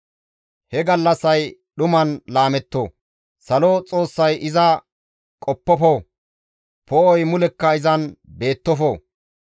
He gallassay dhuman laametto; Salo Xoossay iza qoppofo; Poo7oy mulekka izan beettofo.